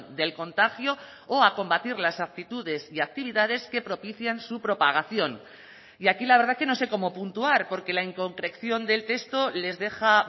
del contagio o a combatir las actitudes y actividades que propician su propagación y aquí la verdad que no sé cómo puntuar porque la inconcreción del texto les deja